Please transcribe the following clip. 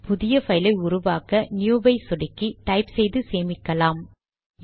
புதிய பைலை உருவாக்க நியூ வை சொடுக்கி டைப் செய்து சேமிக்கலாம்